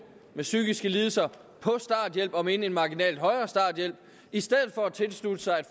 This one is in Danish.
med psykiske lidelser på starthjælp om end en marginal højere starthjælp i stedet for at tilslutte sig